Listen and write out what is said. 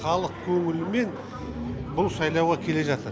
халық көңілімен бұл сайлауға келе жатыр